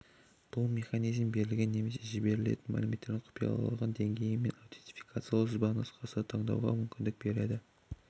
бұл механизм берілген немесе жіберілетін мәліметтердің құпиялылығы деңгейі мен аутентификациялау сызбанұсқасын таңдауға мүмкіндік береді